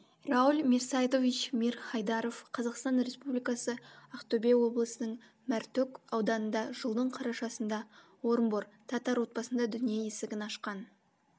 рауль мирсайдович мир хайдаров қазақстан республикасы ақтөбе облысының мәртөк ауданында жылдың қарашасында орынбор татар отбасында дүние есігін ашқан